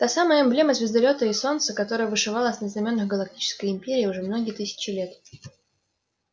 та самая эмблема звездолёта и солнца которая вышивалась на знамёнах галактической империи уже многие тысячи лет